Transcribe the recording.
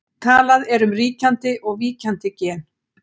Talað er um ríkjandi og víkjandi gen.